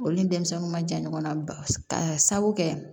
Olu ni denmisɛnw ma jan ɲɔgɔn na ba ka sabu kɛ